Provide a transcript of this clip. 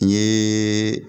N ye